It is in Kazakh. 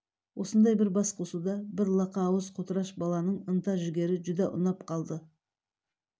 осындай бір бас қосуда бір лақа ауыз қотыраш баланың ынта-жігері жүдә ұнап қалды